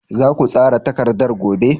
Za ku tsara takardar gobe?